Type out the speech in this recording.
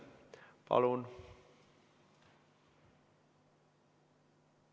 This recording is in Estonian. Palun!